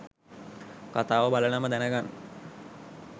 කතාව බලලම දැනගන්න.